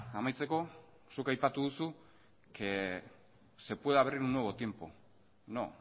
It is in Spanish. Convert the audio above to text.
amaitzeko zuk aipatu duzu que se puede abrir un nuevo tiempo no